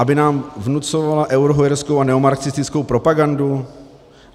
Aby nám vnucovala eurohujerskou a neomarxistickou propagandu?